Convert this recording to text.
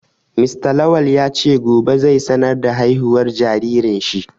Mr Lawal ya ce gobe zai sanar da haihuwar jaririn shi